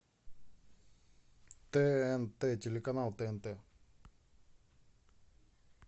тнт телеканал тнт